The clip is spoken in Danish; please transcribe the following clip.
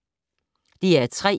DR P3